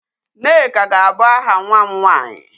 Nneka ga-abụ aha nwa m nwanyị.